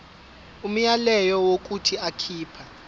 umyalelo wokuthi akhipha